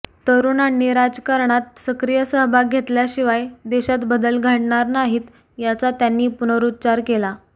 तरुणांनी राजकारणात सक्रिय सहभाग घेतल्याशिवाय देशात बदल घडणार नाहीत याचा त्यांनी पुनरुच्चार केला